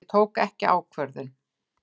Ég tók ekki ákvörðun.